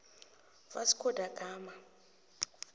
vasco da gama